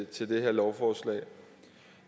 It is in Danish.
til det her lovforslag